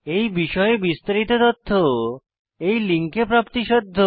এই বিষয়ে বিস্তারিত তথ্য এই লিঙ্কে প্রাপ্তিসাধ্য